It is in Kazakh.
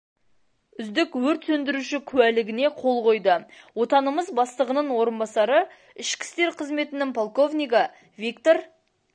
үздік өрт сөндіруші куәлігіне қол қойды отанымыз бастығының орынбасары ішкі істер қызметінің полковнигі виктор